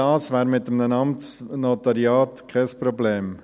All dies wäre mit einem Amtsnotariat kein Problem.